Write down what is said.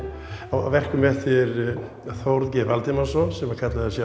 á verkum eftir Þórð g Valdimarsson sem kallaði